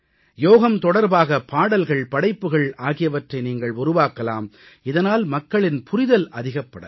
யோகம் தொடர்பாக பாடல்கள் படைப்புகள் ஆகியவற்றை நீங்கள் உருவாக்கலாம் இதனால் மக்களின் புரிதல் அதிகப்படலாம்